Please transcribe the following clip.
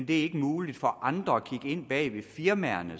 det ikke er muligt for andre at kigge ind bag ved firmaerne